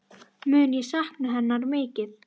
Mun ég sakna hennar mikið.